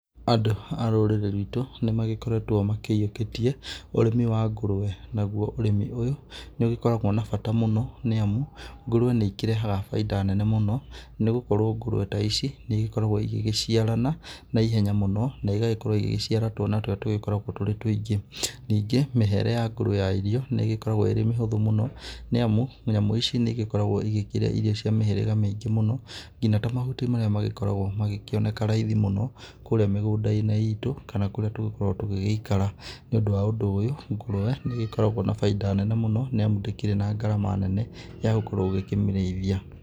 Andũ a rũrĩrĩ rwitũ nĩ magĩkoretwo makĩyĩũkĩtie ũrĩmĩ wa ngũrũwe, naguo ũrĩmi ũyũ, nĩ ũgĩkoragwo na bata mũno nĩ amu ngũrũwe nĩ ikĩrehaga baida nene mũno, nĩ gũkorwo ngũrũwe ta ici nĩ igĩkoragwo ĩgĩgĩciarana na ihenya mũno na igagĩkorwo igĩgĩciara twana tũrĩa tũgĩkoragwo tũrĩ twingĩ. Ningĩ, mĩhere ya ngũrũwe ya irio nĩ ĩgĩkoragwo ĩrĩ mĩhũthũ mũno, nĩ amu, nyamũ ici nĩ igĩkoragwo igĩkĩrĩa irio cia mĩhĩrĩga mĩingĩ mũno, ngina ta mahuti marĩa magĩkoragwo magĩkĩoneka raithi mũno kũũrĩa mĩgũnda-inĩ itũ kana kũrĩa tũgĩgĩkoragwo tugĩgĩikara. Nĩ ũndũ wa ũndũ ũyũ ngũrũwe nĩ igĩkoragwo na baida nene mũno nĩ amu ndĩkĩrĩ na ngarama nene ya gũkorwo ũgĩkĩmĩrĩithia.